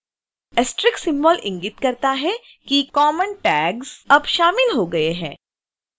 * asterisk symbol इंगित करता है कि कॉमन tags अब शामिल हो गए हैं